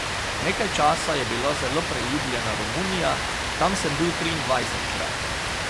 Nekaj časa je bila zelo priljubljena Romunija, tam sem bil triindvajsetkrat.